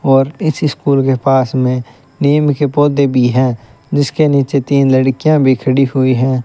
और इस स्कूल के पास में नीम के पौधे भी है जिसके नीचे तीन लड़कियां भी खड़ी हुई है।